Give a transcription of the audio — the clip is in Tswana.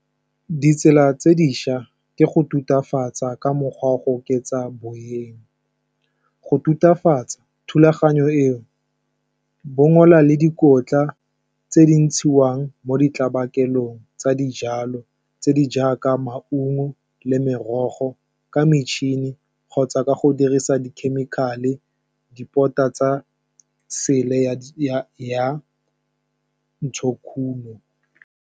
Ditsela tse dišwa ke go tutafatsang ka mogwa wa go oketsa boleng, go tutafatsang thulaganyo eo bongola le dikotla tse di ntshiwang mo di tlabe kokelong tsa dijalo tse di jaaka, maungo le merogo ka metšhini kgotsa ka go dirisa di-chemical-e, di port-a tsa sele ya ntshokuno.